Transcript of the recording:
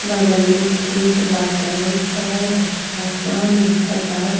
बगल में खेत बाटे और आसमान दिखता।